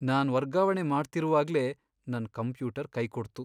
ನಾನ್ ವರ್ಗಾವಣೆ ಮಾಡ್ತಿರುವಾಗ್ಲೇ ನನ್ ಕಂಪ್ಯೂಟರ್ ಕೈಕೊಡ್ತು.